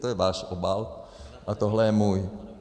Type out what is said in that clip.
To je váš obal a tohle je můj.